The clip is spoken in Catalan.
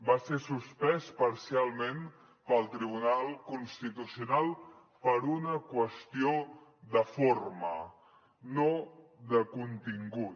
va ser suspès parcialment pel tribunal constitucional per una qüestió de forma no de contingut